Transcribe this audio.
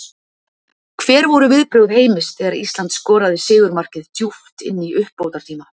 Hver voru viðbrögð Heimis þegar Ísland skoraði sigurmarkið djúpt inn í uppbótartíma?